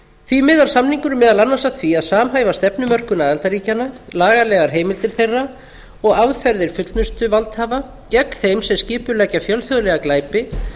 því miðar samningurinn meðal annars að því að samhæfa stefnumörkun aðildarríkjanna lagalegar heimildir þeirra og aðferðir fullnustuvaldhafa gegn þeim sem skipuleggja fjölþjóðlega glæpi